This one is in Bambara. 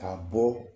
Ka bɔ